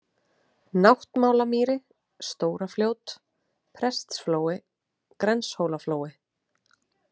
Náttmálamýri, Stórafljót, Prestsflói, Grenshólaflói